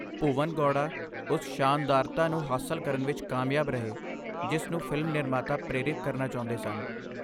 ਭੁਵਨ ਗੌੜਾ ਉਸ ਸ਼ਾਨਦਾਰਤਾ ਨੂੰ ਹਾਸਲ ਕਰਨ ਵਿੱਚ ਕਾਮਯਾਬ ਰਹੇ ਜਿਸ ਨੂੰ ਫਿਲਮ ਨਿਰਮਾਤਾ ਪ੍ਰੇਰਿਤ ਕਰਨਾ ਚਾਹੁੰਦੇ ਸਨ।